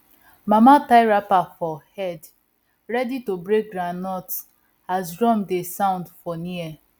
mama tie wrapper for head ready to break groundnut as drum dey sound for near